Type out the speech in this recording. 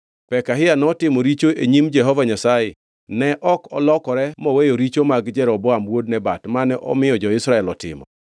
Pekahia notimo richo e nyim Jehova Nyasaye, ne ok olokore moweyo richo mag Jeroboam wuod Nebat, mane omiyo jo-Israel otimo.